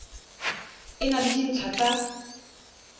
e na le dintlha tsa